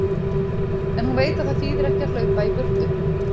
En hún veit að það þýðir ekki að hlaupa í burtu.